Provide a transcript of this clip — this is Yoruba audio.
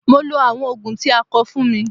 Mo lo àwọn Ògùn tí a kọ fún mi.